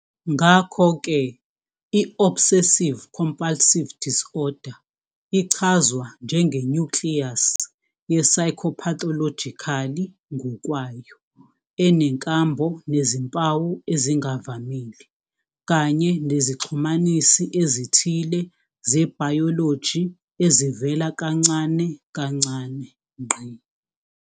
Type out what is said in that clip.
Ngakho-ke, i-Obsessive-compulsive disorder ichazwa njenge-nucleus ye-psychopathological ngokwayo, enenkambo nezimpawu ezingavamile, kanye nezixhumanisi ezithile zebhayoloji ezivela kancane kancane.